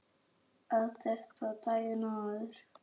Að þetta var daginn áður.